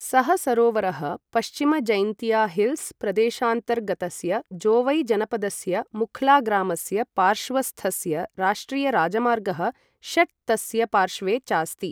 सः सरोवरः पश्चिम जैंतिया हिल्स् प्रदेशान्तर्गतस्य जोवै जनपदस्य मुख्ला ग्रामस्य पार्श्वस्थस्य राष्ट्रिय राजमार्गः षट् तस्य पार्श्वे चास्ति।